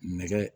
Nɛgɛ